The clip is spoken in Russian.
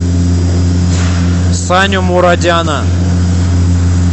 саню мурадяна